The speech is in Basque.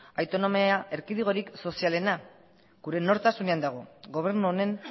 autonomia erkidegorik sozialena gure nortasunaren dago gobernu honen